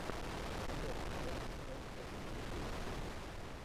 топ файв сентрал ютюб